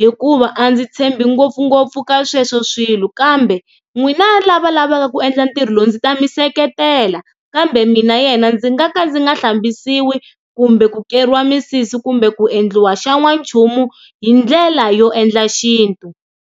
hikuva a ndzi tshembi ngopfungopfu ka sweswo swilo kambe n'wina lava lavaka ku endla ntirho lowu ndzi ta mi seketela kambe mina yena ndzi nga ka ndzi nga hlambisiwi kumbe ku keriwa misisi kumbe ku endliwa xa n'wanchumu hi ndlela yo endla xintu.